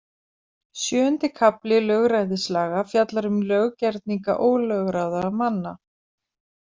Sjöundi kafli lögræðislaga fjallar um löggerninga ólögráða manna.